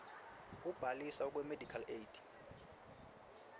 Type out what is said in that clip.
kubhaliswa kwemedical aid